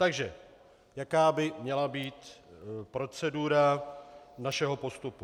Takže jaká by měla být procedura našeho postupu?